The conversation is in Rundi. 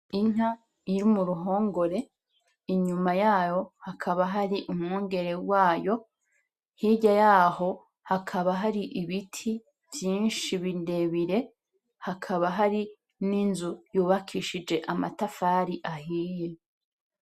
Inka iri mu ruhongore, inyuma yayo hakaba hari umwungere wayo, hirya yaho hakaba hari ibiti vyinshi birebire, hakaba hari n'inzu yubakishije amatafari ahiye.